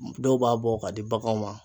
Dɔw b'a bɔ ka di baganw ma.